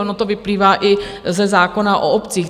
Ono to vyplývá i ze zákona o obcích.